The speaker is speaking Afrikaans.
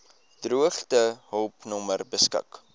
droogtehulp nommer beskik